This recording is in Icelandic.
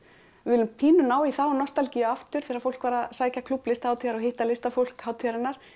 við viljum pínu ná í þá nostalgíu aftur þegar fólk var að sækja klúbb Listahátíðar og hitta listafólk hátíðarinnar